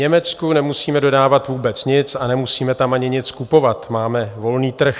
Německu nemusíme dodávat vůbec nic a nemusíme tam ani nic kupovat, máme volný trh.